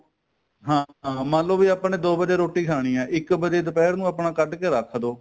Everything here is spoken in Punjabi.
ਹਾਂ ਹਾਂ ਮੰਨ ਲੋ ਵੀ ਆਪਾਂ ਨੇ ਦੋ ਵਜੇ ਰੋਟੀ ਖਾਣੀ ਏ ਇੱਕ ਵਜੇ ਦੁਪਹਿਰ ਨੂੰ ਆਪਣਾ ਕੱਡ ਕੇ ਰੱਖ ਦੋ